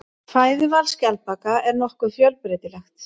Fæðuval skjaldbaka er nokkuð fjölbreytilegt.